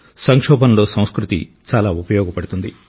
సంక్షోభంలో సంస్కృతి చాలా ఉపయోగపడుతుంది